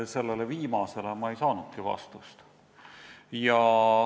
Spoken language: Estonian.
Sellele viimasele küsimusele ma ei saanudki vastust.